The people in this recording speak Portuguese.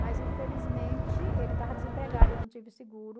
Mas, infelizmente, ele estava desempregado, eu não tive seguro...